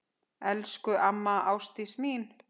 Elsku amma Ásdís mín.